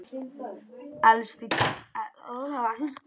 Elsku Kiddi afi.